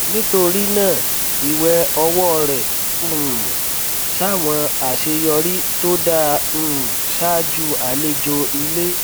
nítorí náà ìwẹ ọwọ rẹ um ṣàwọn àṣeyọrí tó dáa um ṣáájú àlejò ilé